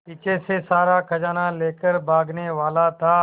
पीछे से सारा खजाना लेकर भागने वाला था